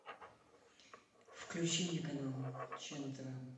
включи мне канал че на тв